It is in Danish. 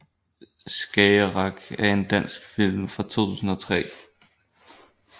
Skagerrak er en dansk spillefilm fra 2003